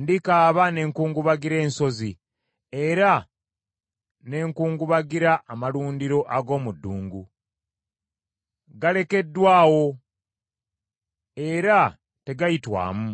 Ndikaaba ne nkungubagira ensozi era ne nkungubagira amalundiro ag’omu ddungu. Galekeddwa awo era tegayitwamu,